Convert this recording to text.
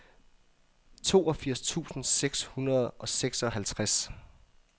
toogfirs tusind seks hundrede og seksoghalvtreds